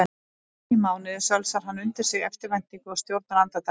Einusinni í mánuði sölsar hann undir sig eftirvæntingu og stjórnar andardrætti.